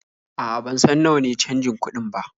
A'a, ban san nawa ne canjin kuɗin ba.